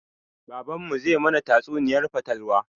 Baban mu zai mana tatsuniyar fatalwa